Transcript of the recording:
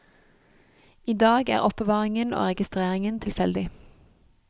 I dag er er oppbevaringen og registreringen tilfeldig.